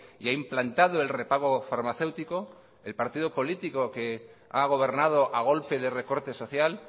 y ha implantado el repago farmacéutico el partido político que ha gobernado a golpe de recorte social